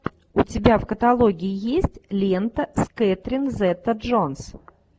у тебя в каталоге есть лента с кетрин зета джонс